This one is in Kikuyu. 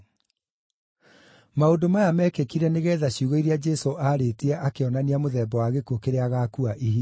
Maũndũ maya mekĩkire nĩgeetha ciugo iria Jesũ aarĩtie akĩonania mũthemba wa gĩkuũ kĩrĩa agaakua ihingio.